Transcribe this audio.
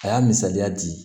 A y'a misaliya di